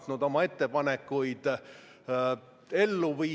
Palun seda muudatusettepanekut, mis muudaks keskmise pensioni tulumaksuvabaks, hääletada!